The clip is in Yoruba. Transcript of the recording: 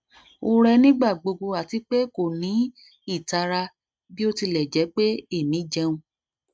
o rẹ nigbagbogbo ati pe ko ni itara bi o tilẹ jẹ pe emi jẹun